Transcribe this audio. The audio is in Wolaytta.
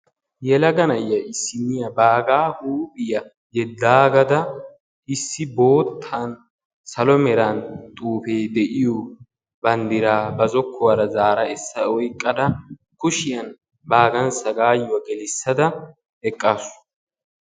yelaga na'iya issiniyaa baagaa huuphiyaa yeddaagada; issi boottan salo meran xuufe de"iyo banddiraa ba zokkuwaara zaara essa oyqqada kushiyan baagan sagaayuwa gelissada eqaasu.